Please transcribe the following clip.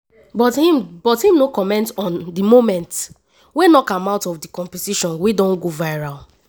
but im but im no comment about di moment wey knock am out of di competition wey don go viral.